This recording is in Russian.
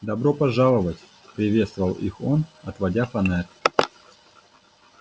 добро пожаловать приветствовал их он отводя фонарь